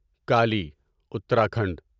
Kali Uttarakhand